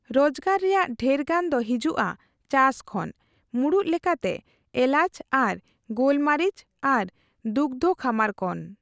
ᱨᱚᱡᱜᱟᱨ ᱨᱮᱭᱟᱜ ᱰᱷᱮᱨᱜᱟᱱ ᱫᱚ ᱦᱤᱡᱩᱜᱼᱟ ᱪᱟᱥ ᱠᱷᱚᱱ, ᱢᱩᱲᱩᱫ ᱞᱮᱠᱟᱛᱮ ᱮᱞᱟᱪ ᱟᱨ ᱜᱳᱞᱢᱟᱨᱤᱪ ᱟᱨ ᱫᱩᱜᱫᱽᱷᱚ ᱠᱷᱟᱢᱟᱨ ᱠᱷᱚᱱ ᱾